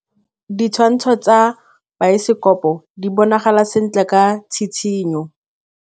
Ditshwantshô tsa biosekopo di bonagala sentle ka tshitshinyô.